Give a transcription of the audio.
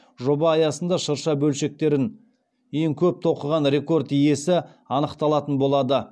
жоба аясында шырша бөлшектерін ең көп тоқыған рекорд иесі анықталатын болады